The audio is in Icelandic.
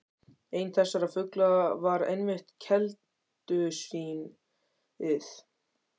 Einn þessara fugla var einmitt keldusvín- ið.